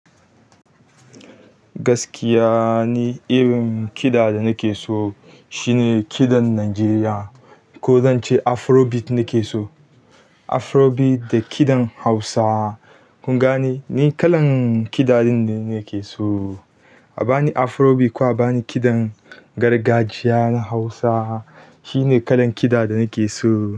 Gaskiya ne irin kiɗa da nake so shine kiɗan Najeriya. Ko zanche afrobeat nakeso afrobeat da kiɗan Hausa. Kun gane? Ni kalan kiɗa dinnan ne nake so. A bani afrobeat ko a bani kiɗan gargajiya na Hausa shine kalan kiɗa da nake so.